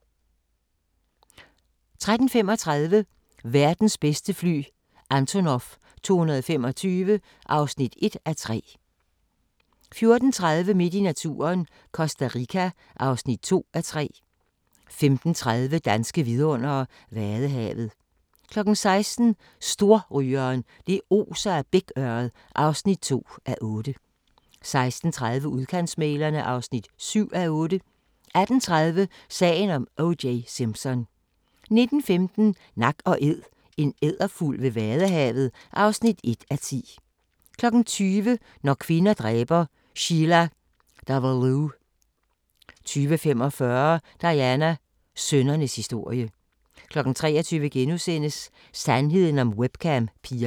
13:35: Verdens bedste fly – Antonov 225 (1:3) 14:30: Midt i naturen - Costa Rica (2:3) 15:30: Danske vidundere: Vadehavet 16:00: Storrygeren – det oser af bækørred (2:8) 16:30: Udkantsmæglerne (7:8) 18:30: Sagen om O.J. Simpson 19:15: Nak & Æd – en edderfugl ved vadehavet (1:10) 20:00: Når kvinder dræber – Sheila Davalloo 20:45: Diana – sønnernes historie 23:00: Sandheden om webcam-pigerne *